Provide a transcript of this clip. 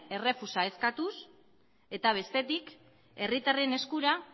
errefusa eskatuz eta bestetik herritarren eskura